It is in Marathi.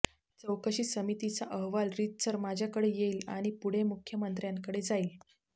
चौकशी समितीचा अहवाल रीतसर माझ्याकडे येईल आणि पुढे मुख्यमंत्र्यांकडे जाईल